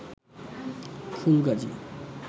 Fulgazi